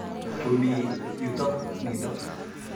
Komi yutok nitok.